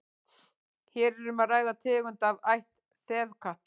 hér er um að ræða tegund af ætt þefkatta